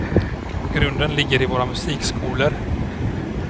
Och grunden ligger i våra musikskolor.